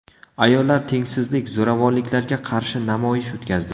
Ayollar tengsizlik, zo‘ravonliklarga qarshi namoyish o‘tkazdi.